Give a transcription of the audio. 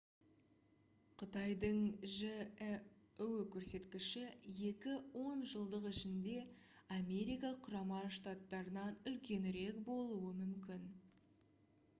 қытайдың жіө көрсеткіші екі он жылдық ішінде америка құрама штаттарынан үлкенірек болуы мүмкін